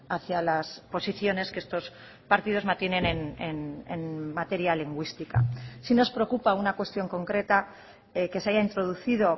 hacía las posiciones que estos partidos mantienen en materia lingüística sí nos preocupa una cuestión concreta que se haya introducido